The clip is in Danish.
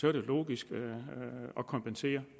er det logisk at kompensere